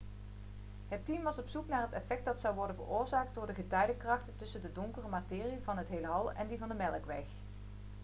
het team was op zoek naar het effect dat zou worden veroorzaakt door de getijdenkrachten tussen de donkere materie van het heelal en die van de melkweg